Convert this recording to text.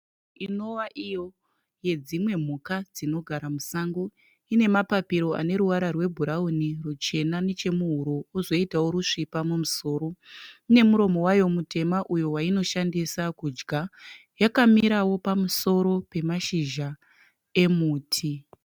Inowa iyo yedzimwe mhuka dzinogara musango ine mapapiro ane ruvara rwebhurauni, ruchena nechemuhuro kwozoitawo rusvipa mumusoro. Ine muromo wayo mutema uyo wainoshandisa kudya. Yakamirawo pamusoro pemashizha emuti.